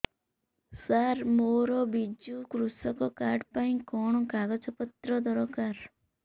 ସାର ମୋର ବିଜୁ କୃଷକ କାର୍ଡ ପାଇଁ କଣ କାଗଜ ପତ୍ର ଦରକାର